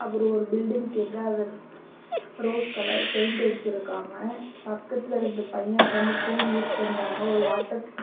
ஒரு பில்டிங் கீழ ரோஸ் கலர்ல பெயிண்ட் அடிச்சு இருக்காங்க பக்கத்துல ரெண்டு பையன் உட்கார்ந்து போன் யூஸ் பண்றாங்க ஒரு வாட்டர் .